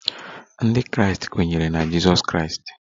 Ndị Kraịst kweere na Jizọs Kraịst